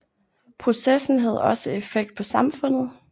Processen havde også effekt på samfundet